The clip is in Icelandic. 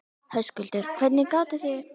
Höskuldur: Hvernig gátið þið slökkt eldinn?